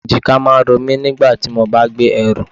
Èjìká máa ń romi nígbà tí mo bá gbé ẹrù.